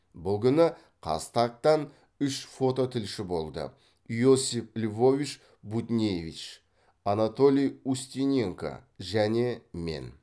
бұл күні қазтаг тан үш фототілші болды иосиф львович буднеевич анатолий устиненко және мен